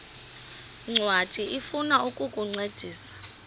ncwadi ifuna ukukuncedisa